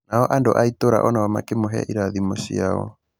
Nao andũ a itũra onao makĩ mũhe irathimo ciao.